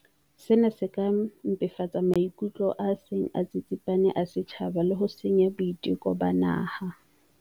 Sena se ka mpefatsa maikutlo a seng a tsitsipane a setjhaba le ho senya boiteko ba naha.